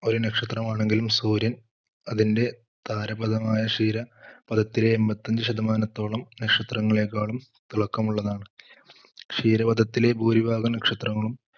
ഒരു നക്ഷത്രമാണെങ്കിലും സൂര്യൻ അതിന്റെ താരപഥമായ ക്ഷീരപഥത്തിലെ എൺത്തിയഞ്ച് ശതമാനത്തോളം നക്ഷത്രങ്ങളെകാളും തിളക്കമുള്ളത് ആണ്. ക്ഷീരപഥത്തിലെ ഭൂരിഭാഗം നക്ഷത്രങ്ങളും,